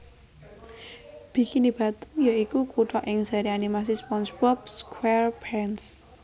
Bikini Bottom ya iku kutha ing seri animasi SpongeBob SquarePants